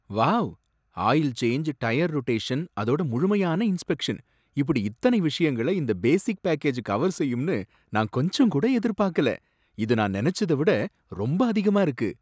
Wow, oil change, tyre rotation அதோட முழுமையான inspection இப்பிடி இத்தனை விஷயங்களை இந்த பேசிக் பேக்கேஜ் கவர் செய்யும்னு நான் கொஞ்சங்கூட எதிர்பார்க்கல. இது நான் நனைச்சத விட ரொம்ப அதிகமா இருக்கு!